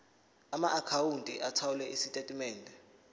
amaakhawunti othola izitatimende